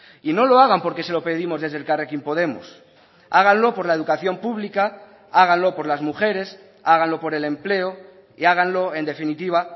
y no lo hagan porque se lo pedimos desde elkarrekin podemos háganlo por la educación pública háganlo por las mujeres háganlo por el empleo y háganlo en definitiva